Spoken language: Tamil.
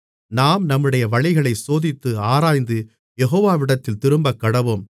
நாம் நம்முடைய வழிகளைச் சோதித்து ஆராய்ந்து யெகோவாவிடத்தில் திரும்பக்கடவோம்